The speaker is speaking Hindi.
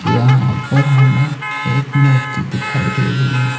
यहां पर हमें एक मूर्ति दिखाई दे रही है।